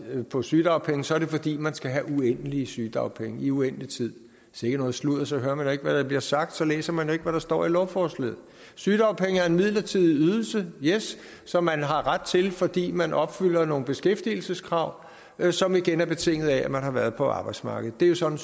på sygedagpenge så er det fordi man skal have uendelige sygedagpenge i uendelig tid sikke noget sludder så hører man da ikke hvad der bliver sagt så læser man jo ikke hvad der står i lovforslaget sygedagpenge er en midlertidig ydelse yes som man har ret til fordi man opfylder nogle beskæftigelseskrav som igen er betinget af at man har været på arbejdsmarkedet det er jo sådan